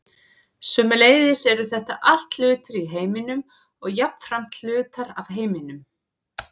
sömuleiðis eru þetta allt hlutir í heiminum og jafnframt hlutar af heiminum